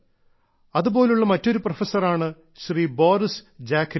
അതുപോലുള്ള മറ്റൊരു പ്രൊഫസറാണ് ശ്രീ ബോറിസ് ജാഖ്രിൻ